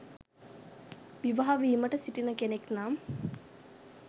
විවාහ වීමට සිටින කෙනෙක් නම්